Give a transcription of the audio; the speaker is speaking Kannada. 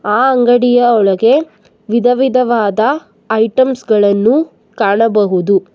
ಆ ಅಂಗಡಿಯ ಒಳಗೆ ವಿಧ ವಿಧವಾದ ಐಟೆಮ್ಸ ಗಳನ್ನು ಕಾಣಬಹುದು.